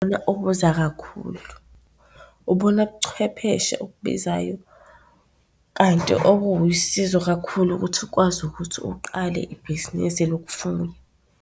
kakhulu, ubona buchwepheshe okubizayo kanti okuwusizo kakhulu ukuthi kwazi ukuthi uqale ibhizinisi lokufuya.